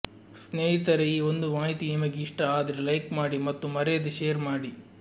ಸ್ನೇಹಿತರೆ ಈ ಒಂದು ಮಾಹಿತಿ ನಿಮಗೆ ಇಷ್ಟ ಆದ್ರೆ ಲೈಕ್ ಮಾಡಿ ಮತ್ತು ಮರೆಯದೇ ಶೇರ್ ಮಾಡಿ